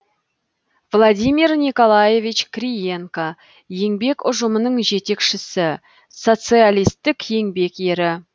владимир николаевич криенко еңбек ұжымының жетекшісі социалистік еңбек ері